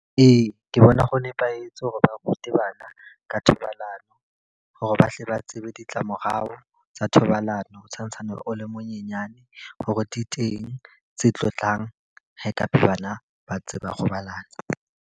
Ee, ke bona ho nepahetse hore ba rute bana ka thobalano. Hore ba hle ba tsebe ditlamorao tsa thobalano o tshwantshwane o le monyenyane. Hore di teng tse tlo tlang ha e ka ba tse ba robalana.